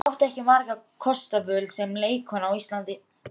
Guðrún átti ekki margra kosta völ sem leikkona á Íslandi.